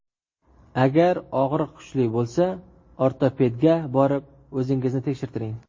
Agar og‘riq kuchli bo‘lsa, ortopedga borib, o‘zingizni tekshirtiring.